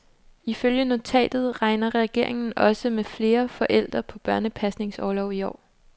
Ifølge notatet regner regeringen også med flere forældre på børnepasningsorlov i år.